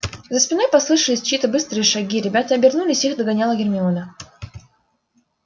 за спиной послышались чьи-то быстрые шаги ребята обернулись их догоняла гермиона